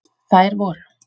Þær voru: